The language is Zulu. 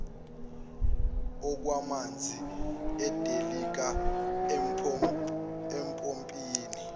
okwamanzi edilika empophomeni